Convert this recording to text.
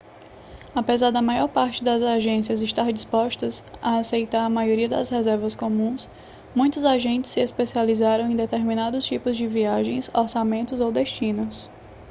apesar da maior parte das agências estar disposta a aceitar a maioria das reservas comuns muitos agentes se especializam em determinados tipos de viagens orçamentos ou destinos